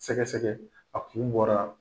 Sɛgɛsɛgɛ ,a kun bɔra.